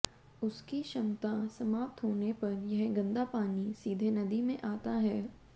उसकी क्षमता समाप्त होने पर यह गंदा पानी सीधे नदी में आता है